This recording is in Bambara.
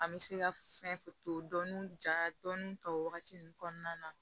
An bɛ se ka fɛn to dɔnni ja o wagati ninnu kɔnɔna na